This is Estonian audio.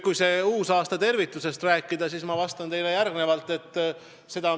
Kui sellest uusaastatervitusest rääkida, siis ma vastan teile järgnevalt.